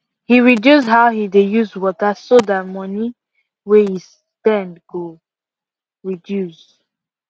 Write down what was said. he reduce how he dey use water so tht moni way he spend go reduce